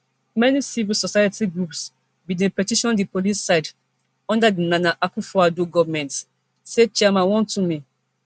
many civil society groups bin dey petition di police cid under di nana akufoaddo goment say chairman wontumi